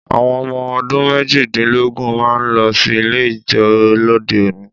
Àwọn ọmọ ọdún méjìdínlógún máa ń lọ sí ilé ijó lóde òní